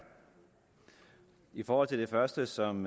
i forhold til det første som